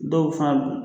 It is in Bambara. Dɔw fana b'u